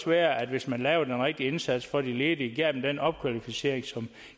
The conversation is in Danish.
være at hvis man lavede den rigtige indsats for de ledige og gav dem den opkvalificering